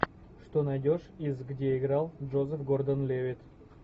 что найдешь из где играл джозеф гордон левитт